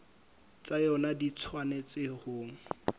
tsa yona di tshwanetse ho